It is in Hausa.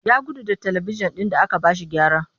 Ya gudu da talibijin ɗin da aka ba shi gyara